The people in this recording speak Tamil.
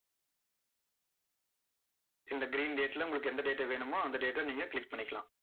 இந்த green date ல, உங்களுக்கு எந்த date வேணுமோ, அந்த date அ நீங்க click பண்ணிக்கலாம்.